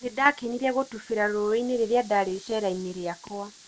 Nĩndakenire gũtubĩra rũĩ-inĩ rĩrĩa ndarĩ icerainĩ rĩakwa.